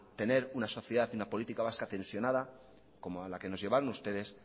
tener una sociedad y una política vasca tensionada como a la que nos llevaron ustedes